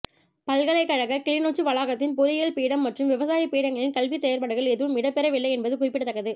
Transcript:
பல்கலைக்கழக கிளிநொச்சி வளாகத்தின் பொறியில் பீடம் மற்றும் விவசாய பீடங்களின் கல்விச் செயற்பாடுகள் எதுவும் இடம்பெறவில்லை என்பது குறிப்பிடத்தக்கது